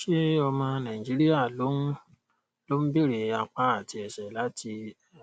ṣé ọmọ nàìjíríà ló ń ló ń beere apá àti ẹsẹ láti